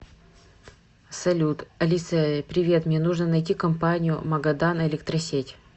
салют алиса привет мне нужно найти компанию магадан электросеть